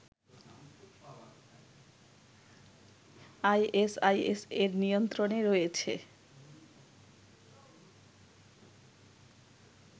ISIS এর নিয়ন্ত্রণে রয়েছে